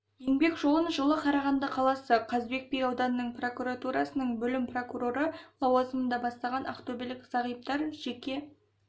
еңбек жолын жылы қарағанды қаласы қазыбек би ауданының прокуратурасының бөлім прокуроры лауазымында бастаған ақтөбелік зағиптар жеке